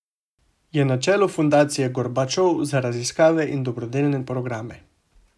Je na čelu Fundacije Gorbačov za raziskave in dobrodelne programe.